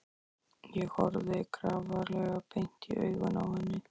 Ég horfði grafalvarleg beint í augun á henni.